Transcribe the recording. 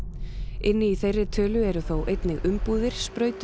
inni í þeirri tölu eru þó einnig umbúðir